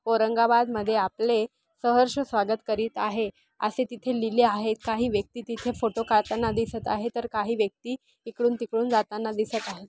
औरंगाबाद मध्ये आपले सहर्ष स्वागत करीत आहे असे तिथे लिहिले आहे काही व्यक्ती तिथे फोटो काढताना दिसत आहे तर काही व्यक्ती इकडून तिकडून जाताना दिसत आहे.